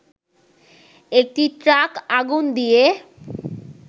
একটি ট্রাক আগুন দিয়ে